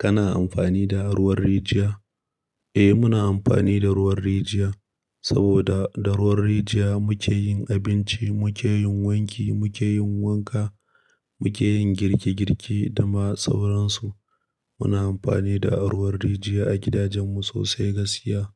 Kana amfani da ruwan rijiya? Eh, muna amfani da ruwan rijiya saboda da ruwan rijiya muke yin abinci, muke yin wanki, muke yin wanka, muke yin girki girki da ma sauransu. Muna amfani da ruwan rijiya a gidajenmu sosai gaskiya